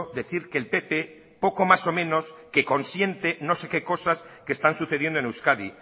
decir que el pp poco más o menos que consiente no sé qué cosas que están sucediendo en euskadi